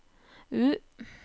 U